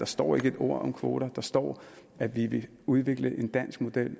står et ord om kvoter der står at vi vil udvikle en dansk model